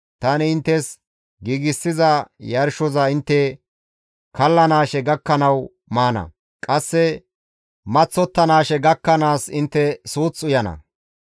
Tani inttes giigsiza yarshoza intte kallanaashe gakkanawu maana; qasse maththottanaashe gakkanaas intte suuth uyana.